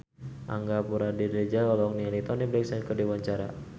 Angga Puradiredja olohok ningali Toni Brexton keur diwawancara